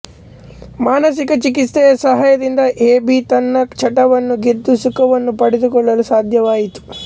ಮಾನಸಿಕ ಚಿಕಿತ್ಸೆಯ ಸಹಾಯದಿಂದ ಎ ಬಿ ತನ್ನ ಚಟವನ್ನು ಗೆದ್ದು ಸುಖವನ್ನು ಪಡೆದುಕೊಳ್ಳಲು ಸಾಧ್ಯವಾಯಿತು